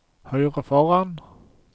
høyre foran